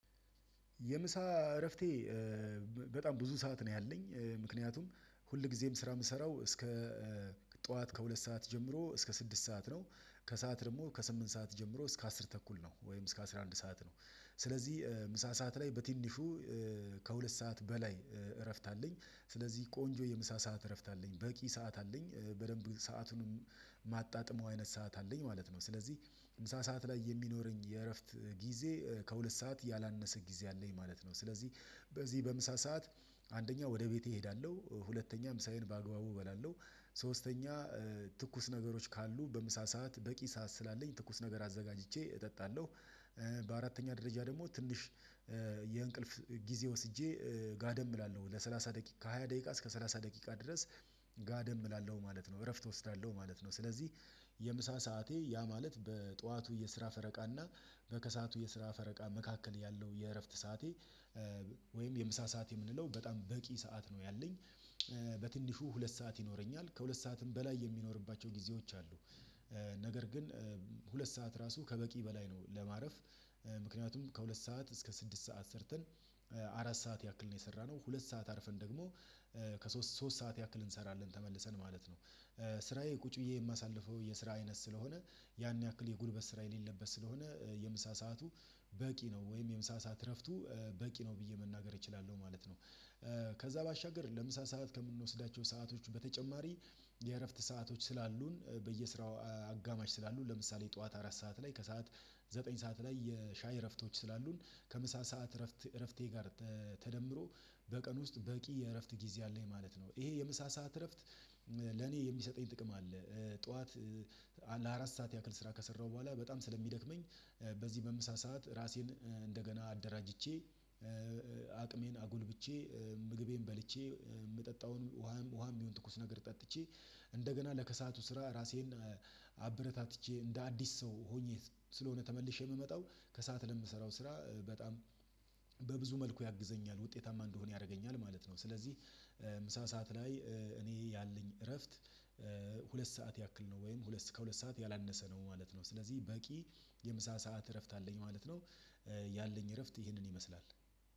የምሳ እረፍቴ በጣም ብዙ ሰዓት ነው ያለኝ ምክንያቱም ሁል ጊዜም ስራ የምሰራው እስከ ጠዋት ከሁለት ሰዓት ጀምሮ እስከ ስድስት ሰዓት ነው። ከሰአት ደግሞ ከስምንት ሰዓት ጀምሮ እስከ አስር ተኩል ነው ወይም እስከ አስራ አንድ ሰዓት ነው። ስለዚህ ምሳ ሰዓት ላይ በትንሹ ከሁለት ሰዓት በላይ እረፍት አለኝ ስለዚህ ቆንጆ የምሳ ሰዓት እረፍት አለኝ በቂ ሰዓት አለኝ በደንብ ሰዓቱንም ማጣጥመው አይነት ሰዓት አለኝ ማለት ነው። ስለዚህ ምሳ ሰዓት ላይ የሚኖረኝ የእረፍት ጊዜ ከሁለት ሰዓት ያላነሰ ጊዜ አለኝ ማለት ነው። ስለዚህ በዚህ በምሳ ሰዓት አንደኛ ወደ ቤቴ እሄዳለሁ ሁለተኛ ምሳዬን በአግባቡ እበላለሁ። ሶስተኛ ትኩስ ነገሮች ካሉ በምሳ ሰዓት በቂ ሰዓት ስላለኝ ትኩስ ነገር አዘጋጅቼ እጠጣለሁ። በአራተኛ ደረጃ ደግሞ ትንሽ የእንቅልፍ ጊዜ ወስጄ ጋደም እላለሁ ለሰላሳ ደቂቃ ከሃያ ደቂቃ እስከ ሰላሳ ደቂቃ ድረስ ጋደም እላለሁ ማለት ነው። እረፍት እወስዳለሁ ማለት ነው። ስለዚህ የምሳ ሰዓቴ ያ ማለት በጠዋቱ የስራ ፈረቃ እና በከሰአቱ የስራ ፈረቃ መካከል ያለው የእረፍት ሰዓቴ ወይም የምሳ ሰዓት የምንለው በጣም በቂ ሰዓት ነው ያለኝ። በትንሹ ሁለት ሰዓት ይኖረኛል ከሁለት ሰዓትም በላይ የሚኖርባቸው ጊዜዎች አሉ ነገር ግን ሁለት ሰዓት ራሱ ከበቂ በላይ ነው። ለማረፍ ምክንያቱም ከሁለት ሰዓት እስከ ስድስት ሰዓት ሰርተን አራት ሰዓት ያክል ነው የሰራነው ሁለት ሰዓት አርፈን ደግሞ ከሶስት ሶስት ሰዓት ያክል እንሰራለን ተመልሰን ማለት ነው። ስራዬ ቁጭ ብዬ የማሳልፈው የስራ አይነት ስለሆነ ያን ያክል የጉልበት ስራ የሌለበት ስለሆነ የምሳ ሰዓቱ በቂ ነው ወይም የምሳ ሰዓት እረፍቱ በቂ ነው ብዬ መናገር እችላለሁ ማለት ነው። ከዛ ባሻገር ለምሳ ሰዓት ከምንወስዳቸው ሰአቶች በተጨማሪ የእረፍት ሰአቶች ስላሉን በየስራው አጋማሽ ስላሉን ለምሳሌ ጠዋት አራት ሰዓት ላይ ከሰአት ዘጠኝ ሰዓት ላይ የሻይ እረፍቶች ስላሉን ከምሳ ሰዓት እረፍት እረፍቴ ጋር ተደምሮ በቀን ውስጥ በቂ የእረፍት ጊዜ አለኝ ማለት ነው። ይሄ የምሳ ሰዓት እረፍት ለኔ የሚሰጠኝ ጥቅም አለ። ጠዋት ለአራት ሰዓት ያክል ስራ ከሰራሁ በኋላ በጣም ስለሚደክመኝ በዚህ በምሳ ሰዓት ራሴን እንደገና አደራጅቼ አቅሜን አጎልብቼ ምግቤን በልቼ የምጠጣውን ውሃም ውሃም ይሁን ትኩስ ነገር ጠጥቼ እንደገና ለከሰአቱ ስራ ራሴን አበረታትቼ እንደ አዲስ ሰው ሆኜ ስለሆነ ተመልሼ የምመጣው ከሰአት ለምሰራው ስራ በጣም በብዙ መልኩ ያግዘኛል ውጤታማ እንደሆን ያደርገኛል ማለት ነው። ስለዚህ ምሳ ሰዓት ላይ እኔ ያለኝ እረፍት ሁለት ሰዓት ያክል ነው ወይም ከሁለት ሰዓት ያላነሰ ነው ማለት ነው ስለዚህ በቂ የምሳ ሰዓት እረፍት አለኝ ማለት ነው። ያለኝ እረፍት ይህንን ይመስላል